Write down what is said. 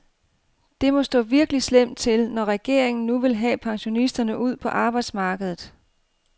Det må stå virkelig slemt til, når regeringen nu vil have pensionisterne ud på arbejdsmarkedet.